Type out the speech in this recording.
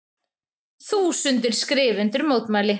Þúsundir skrifa undir mótmæli